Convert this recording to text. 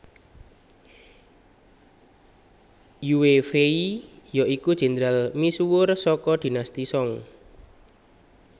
Yue Fei ya iku jendral misuwur saka Dinasti Song